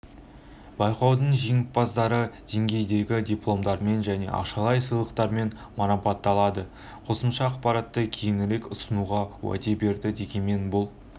байқаудың жеңімпаздары деңгейдегі дипломдармен және ақшалай сыйлықтармен марапатталады қосымша ақпаратты кейінірек ұсынуға уәде берді дегенмен бұл